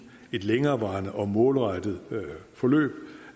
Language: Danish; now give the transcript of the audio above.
et længerevarende og målrettet forløb